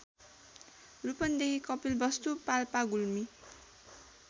Rupandehi Kapilvastu Palpa Gulmi